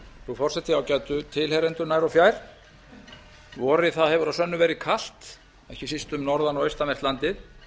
frú forseti ágætu tilheyrendur nær og fjær vorið hefur að sönnu verið kalt ekki síst um norðan og austanvert landið en